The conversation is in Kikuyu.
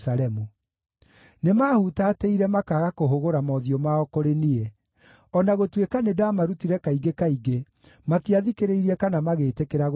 Nĩmahutatĩire makaaga kũhũgũra mothiũ mao kũrĩ niĩ; o na gũtuĩka nĩndamarutire kaingĩ kaingĩ, matiathikĩrĩirie kana magĩtĩkĩra gũtaarwo.